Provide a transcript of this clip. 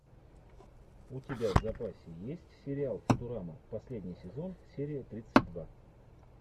у тебя в запасе есть сериал футурама последний сезон серия тридцать два